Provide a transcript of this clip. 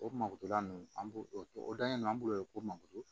O mako to la ninnu an b'o o dalen don an bolo mankoto